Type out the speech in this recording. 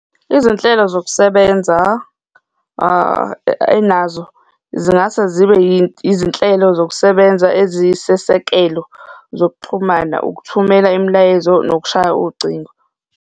Izinhlelo zokusebenza enazo, zingase zibe izinhlelo zokusebenza ezisesekelo zokuxhumana, ukuthumela imilayezo nokushaya ucingo.